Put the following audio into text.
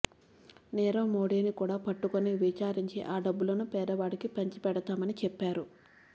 నీరవ్ మోదీని కూడా పట్టుకొని విచారించి ఆ డబ్బులను పేదవాడికి పంచిపెడతామని చెప్పారు